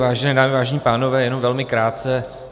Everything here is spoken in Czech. Vážené dámy, vážení pánové, jenom velmi krátce.